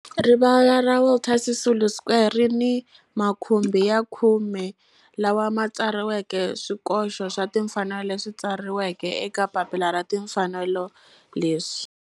Rivala ra Walter Sisulu Square ri ni makhumbi ya khume lawa ma tsariweke swikoxo swa timfanelo leswi tsariweke eka papila ra timfanelo leswi.